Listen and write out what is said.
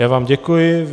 Já vám děkuji.